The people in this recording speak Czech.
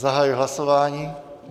Zahajuji hlasování.